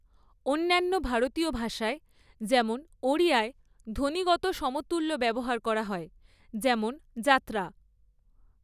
অন্যান্য ভারতীয় ভাষায় যেমন ওড়িয়ায় ধ্বনিগত সমতুল্য ব্যবহার করা হয় যেমন যাত্রা।